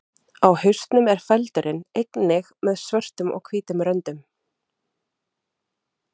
Á hausnum er feldurinn einnig með svörtum og hvítum röndum.